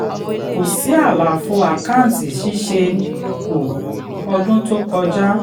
kò sí àlàfo àkánti ṣìṣẹ kú ọdún tó kọjá.